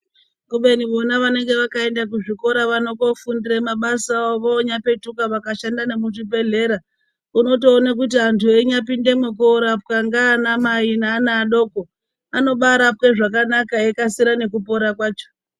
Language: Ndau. Kubeni vona vanenge vakaenda kuzvikora vano koofundire mabasa avo vonyapetuka vakashanda nemuzvibhehlera unotoone kuti antu einyapindemwo koorapwe naana mai neana adoko, anobaarapwe zvakanaka eikasire nekupora kwacho.